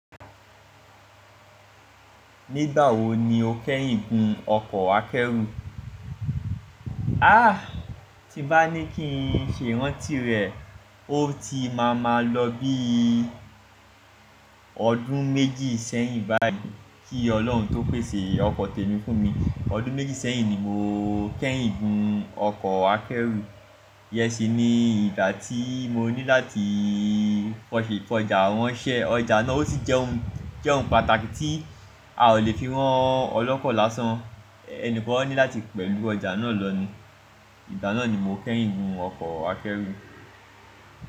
Nígbà wo ni o kẹ́yìn gun ọkọ̀ akẹ́rù? Ah, tí bá ní kí n ṣe ìrántí rẹ̀, ó ti máa máa lọ bí i ọdún méjì sẹ́yìn báyìí. Kí Ọlọ́run tó pèsè ọkọ̀ tẹ́mi fún mi. Ọdún méjì sẹ́yìn ni mo kẹ́yìn gun ọkọ̀ akẹ́rù. Yẹ́ṣì ni ìgbà tí mo ní láti fọṣì fọjà wọn ṣẹ. Ọjà náà ó ti jẹ́ ohun, jẹ́ ohun pàtàkì tí a ò lè fi rán ọlọ́kọ lásán. Ẹni kan ní láti pẹ̀lú ọjà náà lọ ni. Ìgbà náà ni mo kẹ́yìn gun ọkọ̀ akẹ́rù.